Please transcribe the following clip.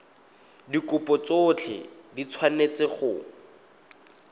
dikopo tsotlhe di tshwanetse go